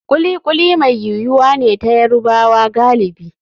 Kuli kuli mai yuwuwa ne ta Yarubawa galibi.